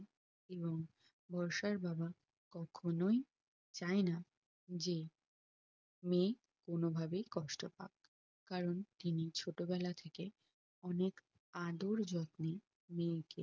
এবং বর্ষার বাবা কখনোই চাইনা যে মেয়ে কোনো ভাবেই কষ্ট পাক কারণ তিনি ছোট বেলা থেকে অনেক আদর যত্নে মেয়েকে